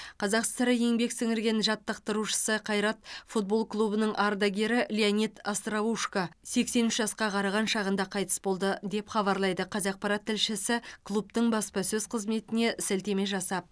қазақ сср еңбек сіңірген жаттықтырушысы қайрат футбол клубының ардагері леонид остроушко сексен үш жасқа қараған шағында қайтыс болды деп хабарлайды қазақпарат тілшісі клубтың баспасөз қызметіне сілтеме жасап